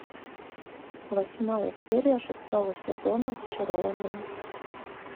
восьмая серия шестого сезона зачарованные